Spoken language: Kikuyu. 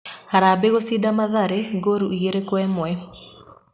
Harambĩĩ gũcinda Mathare ngoru igĩrĩ Kwa ĩmwe.